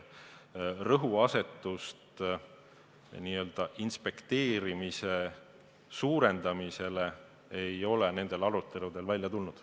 Rõhuasetust inspekteerimise suurendamisele ei ole nendes aruteludes välja tulnud.